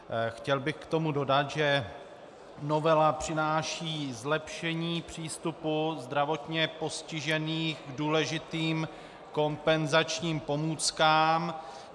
Chtěl bych k tomu dodat, že novela přináší zlepšení přístupu zdravotně postižených k důležitým kompenzačním pomůckám.